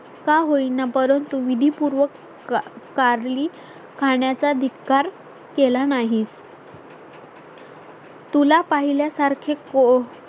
का होईना, परंतु विधी पूर्व कारली खाण्याचा धिक्कार केला नाही तुला पाहिल्यासारखे को